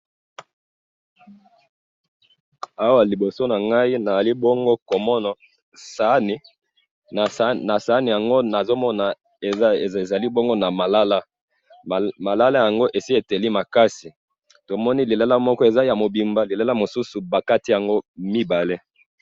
awa liboso nanga nazali bongo ko mona sahani na sahani nango nazo mona eza bongo na malala malala yango esi eteli makasi to moni lilala moko eza mobimba lilala mosusu ba kati yango mibale